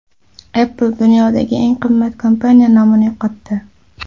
Apple dunyodagi eng qimmat kompaniya nomini yo‘qotdi.